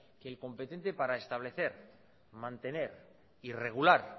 que el competente para establecer mantener y regular